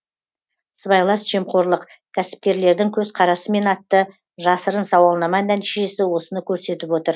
сыбайлас жемқорлық кәсіпкерлердің көзқарасымен атты жасырын сауалнама нәтижесі осыны көрсетіп отыр